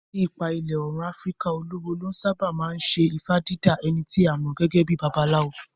Ní apá ìlà Òòrùn Afíríkà, olúwo ló sáábà máa ń ṣe ifá dídá, ẹni tí a mọ̀ gẹ́gẹ́ bíi babaláwo.